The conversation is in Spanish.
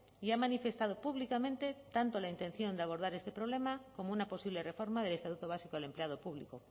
y ha manifestado públicamente tanto la intención de abordar este problema como una posible reforma del estatuto básico del empleado público